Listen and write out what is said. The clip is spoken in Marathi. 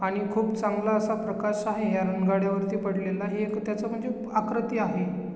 आणि खुप चांगला असा प्रकाश आहे ह्या रनगाड्या वरती पडलेला हे एक त्याच खूप आकृति आहे.